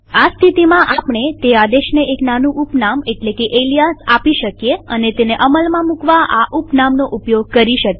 આ સ્થિતિમાં આપણે તે આદેશને એક નાનું ઉપનામ એટલે કે એલીયાસ આપી શકીએ અને તેને અમલમાં મુકવા આ ઉપનામ નો ઉપયોગ કરી શકીએ